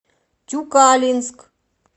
тюкалинск